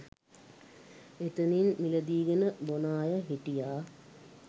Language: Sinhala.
එතනින් මිලදීගෙන බොන අය හිටියා.